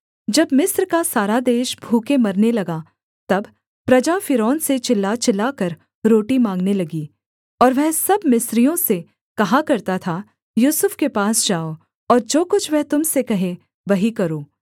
जब मिस्र का सारा देश भूखे मरने लगा तब प्रजा फ़िरौन से चिल्ला चिल्लाकर रोटी माँगने लगी और वह सब मिस्रियों से कहा करता था यूसुफ के पास जाओ और जो कुछ वह तुम से कहे वही करो